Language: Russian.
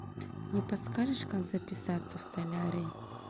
не подскажешь как записаться в солярий